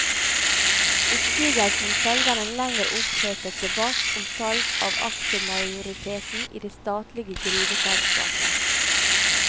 Oppsigelsen følger en lengre opphetet debatt om salg av aksjemajoriteten i det statlige gruveselskapet.